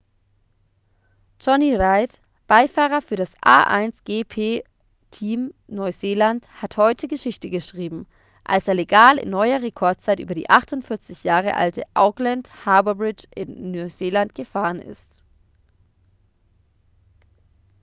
jonny reid beifahrer für das a1gp-team neuseeland hat heute geschichte geschrieben als er legal in neuer rekordzeit über die 48 jahre alte auckland harbour bridge in neuseeland gefahren ist